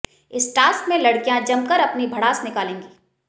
इस टास्क में लड़कियां जमकर अपनी भड़ास निकालेंगी